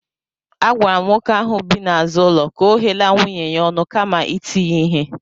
Agwara m nwoke ahụ bi n'azụ ụlọ ka ọ ghela nwunye ya ọnụ kama iti ya ihe